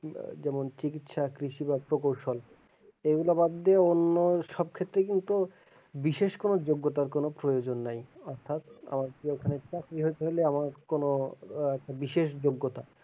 যেমন চিকিৎসা কৃষি বা এইগুলা বাদ দিয়ে অন্য সব ক্ষেত্রেই কিন্তু বিশেষ কোনো যোগ্যতার কোনো প্রয়োজন নাই অর্থাৎ চাকরি হতে হলে আমার কোনো আহ বিশেষ যোগ্যতা,